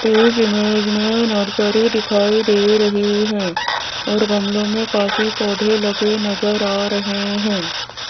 इस इमेज में नर्सरी दिखाई दे रही है और गमलों में काफी पौधे लगे नजर आ रहे हैं।